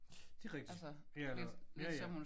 Det er rigtigt. Ja eller ja ja